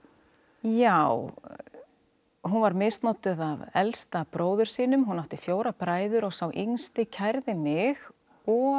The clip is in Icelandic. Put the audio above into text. já hún var misnotuð af elsta bróður sínum hún átti fjóra bræður og sá yngsti kærði mig og